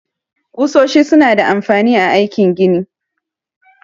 Kusoshi su na da amfani a aikin gini